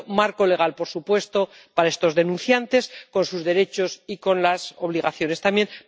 Por tanto marco legal, por supuesto, para estos denunciantes, con sus derechos y con las obligaciones también.